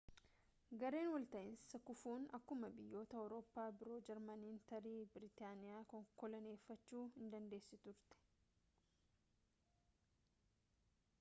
gareen wal ta'iinsaa kufuun akkuma biyyoota awrooppaa biro jarmaniin tarii biritaaniyaa koloneeffachuu in dandeessi turte